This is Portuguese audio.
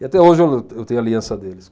E até hoje eu, eu tenho a aliança deles.